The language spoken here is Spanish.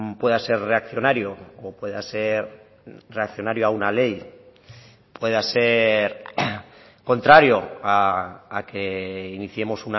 pueda ser reaccionario o pueda ser reaccionario a una ley pueda ser contrario a que iniciemos